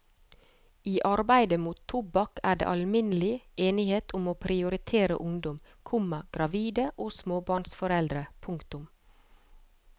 I arbeidet mot tobakk er det alminnelig enighet om å prioritere ungdom, komma gravide og småbarnsforeldre. punktum